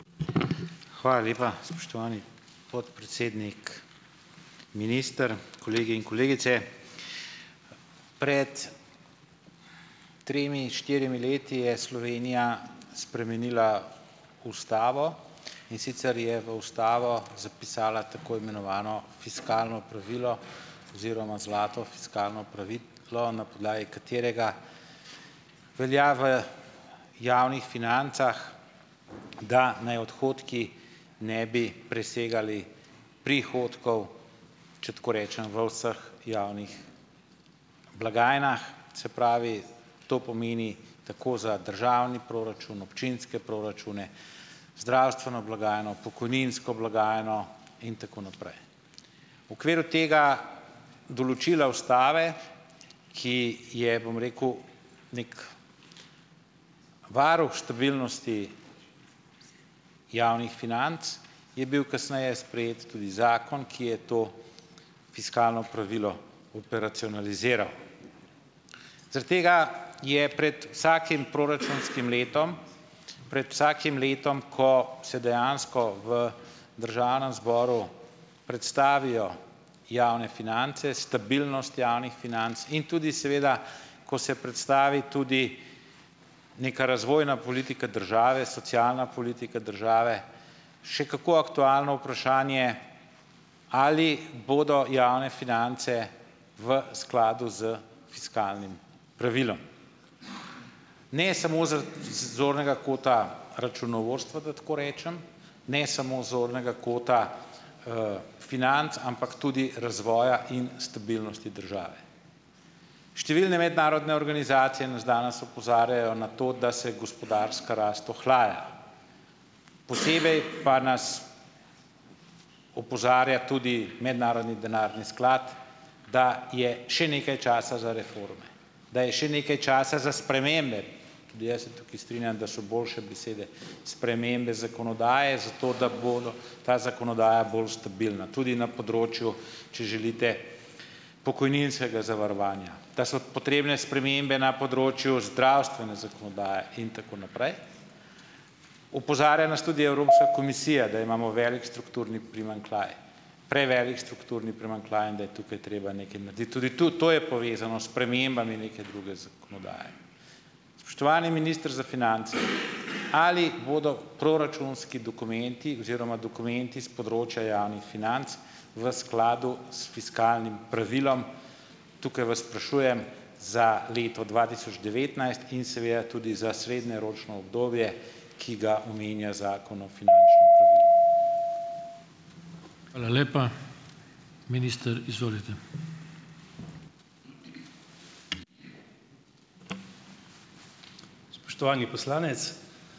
Hvala lepa, spoštovani podpredsednik. Minister, kolegi in kolegice. Pred tremi, štirimi leti je Slovenija spremenila ustavo, in sicer je v ustavo zapisala tako imenovano fiskalno pravilo oziroma zlato fiskalno pravilo, na podlagi katerega velja v javnih financah, da naj odhodki ne bi presegali prihodkov, če tako rečem, v vseh javnih blagajnah. Se pravi, to pomeni, tako za državni proračun, občinske proračune, zdravstveno blagajno, pokojninsko blagajno in tako naprej. Okviru tega določila ustave, ki je, bom rekel, neki varuh številnosti javnih financ, je bil kasneje sprejet tudi zakon, ki je to fiskalno pravilo operacionaliziral. Zaradi tega je pred vsakim proračunskim letom, pred vsakim letom, ko se dejansko v državnem zboru predstavijo javne finance, stabilnost javnih financ in tudi seveda, ko se predstavi tudi neka razvojna politika države, socialna politika države, še kako aktualno vprašanje, ali bodo javne finance v skladu s fiskalnim pravilom. Ne samo z zornega kota računovodstva, da tako rečem, ne samo zornega kota, financ, ampak tudi razvoja in stabilnosti države. Številne mednarodne organizacije nas danes opozarjajo na to, da se gospodarska rast ohlaja. Posebej pa nas opozarja tudi Mednarodni denarni sklad, da je še nekaj časa za reforme, da je še nekaj časa za spremembe - tudi jaz se tukaj strinjam, da so boljše besede spremembe zakonodaje, zato da bo ta zakonodaja bolj stabilna tudi na področju, če želite pokojninskega zavarovanja. Da so potrebne spremembe na področju zdravstvene zakonodaje in tako naprej. Opozarja nas tudi Evropska komisija, da imamo velik strukturni primanjkljaj, prevelik strukturni primanjkljaj in da je tukaj treba nekaj narediti. Tudi to to je povezano s spremembami neke druge zakonodaje. Spoštovani minister za finance, ali bodo proračunski dokumenti oziroma dokumenti s področja javnih financ, v skladu s fiskalnim pravilom? Tukaj vas sprašujem za leto dva tisoč devetnajst in seveda tudi za srednjeročno obdobje, ki ga omenja Zakon o finančnem pravilu.